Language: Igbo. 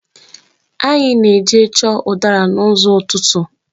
Anyị na-eje chọọ udara n'ụzọ́ ụtụtụ.